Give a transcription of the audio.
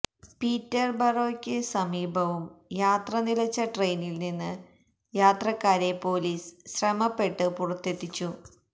പീറ്റർബറോയ്ക്ക് സമീപവും യാത്ര നിലച്ച ട്രെയിനിൽനിന്ന് യാത്രക്കാരെ പൊലീസ് ശ്രമപ്പെട്ട് പുറത്തെത്തിച്ചു